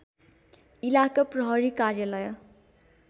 इलाका प्रहरी कार्यालय